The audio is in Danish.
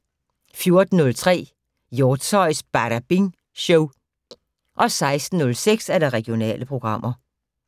14:03: Hjortshøjs Badabing Show 16:06: Regionale programmer